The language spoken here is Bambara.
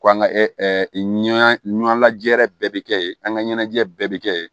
Ko an ka ɲɔ ɲanajɛ bɛɛ bɛ kɛ ye an ka ɲɛnajɛ bɛɛ bɛ kɛ yen